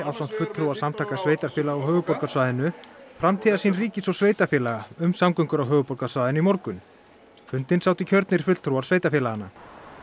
ásamt fulltrúa Samtaka sveitarfélaga á höfuðborgarsvæðinu framtíðarsýn ríkis og sveitarfélaga um samgöngur á höfuðborgarsvæðinu í morgun fundinn sátu kjörnir fulltrúar sveitarfélaganna